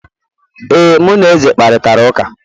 ee, mụ na eze kparịtara ụka